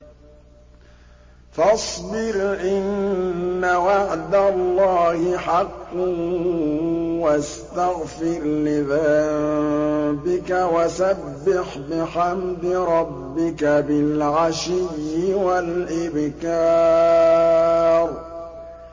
فَاصْبِرْ إِنَّ وَعْدَ اللَّهِ حَقٌّ وَاسْتَغْفِرْ لِذَنبِكَ وَسَبِّحْ بِحَمْدِ رَبِّكَ بِالْعَشِيِّ وَالْإِبْكَارِ